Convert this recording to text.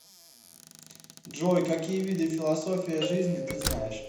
джой какие виды философия жизни ты знаешь